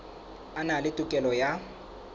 a na le tokelo ya